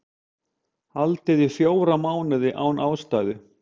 Haldið í fjóra mánuði án ástæðu